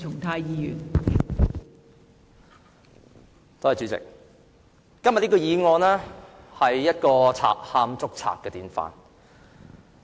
代理主席，今天的議案是"賊喊捉賊"的典範。